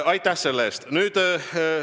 Aitäh selle eest!